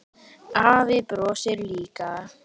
Afi brosir líka.